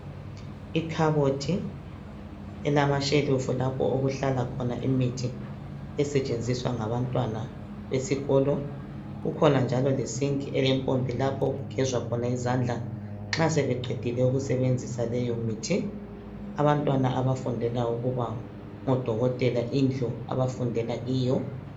Ikhabothi elamashelufu lapho okuhlala khona imithi esetshenziswa ngabantwana esikolo. Kukhona njalo lesinki elempompi lapho okugezwa khona izandla nxa sebeqedile ukusebenzisa leyomithi. Abantwana abafundela ukuba ngodokotela indlu abafundela kiyo.